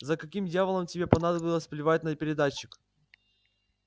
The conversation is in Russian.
за каким дьяволом тебе понадобилось плевать на передатчик